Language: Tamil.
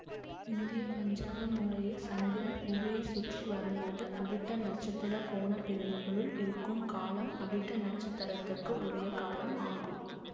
இந்திய பஞ்சாங்க முறையில் சந்திரன் புவியைச் சுற்று வரும்போது அவிட்ட நட்சத்திர கோண பிரிவுககுள் இருக்கும் காலம் அவிட்ட நட்சத்திரத்துக்கு உரிய காலம் ஆகும்